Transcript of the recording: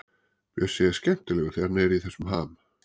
Bjössi er skemmtilegur þegar hann er í þessum ham.